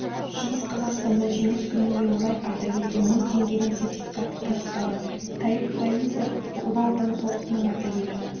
шығыс қазақстанда жеңіс күніне орай ардагерге мың теңгенің сертификаты табысталды таиф фаизов ұлы отан соғысының ардагері